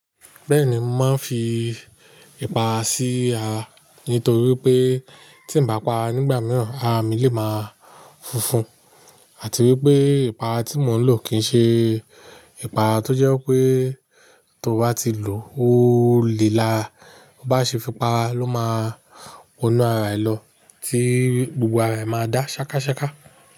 Bẹ́ẹ̀ni, mò má ń fi ipàra sí ara nítorí pé tí ń bá para nígbà mìíràn ara mi lè má funfun àti wípé ipàra tí mò ń lò kì ń ṣe ipàra tó jẹ́ pé tó bá ti lò ó le lara, ó bá ṣe fipá ló má wọnú ara ẹ lọ tí gbogbo ara ẹ má dá ṣákaṣáka.